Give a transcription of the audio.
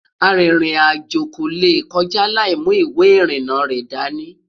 àrin rìn àjò kò lè kọjá laimu ìwé irina rẹ̀ dání